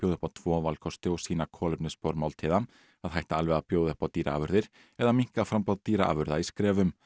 upp á tvo valkosti og sýna kolefnisspor máltíða að hætta alveg að bjóða upp á dýraafurðir eða að minnka framboð dýraafurða í skrefum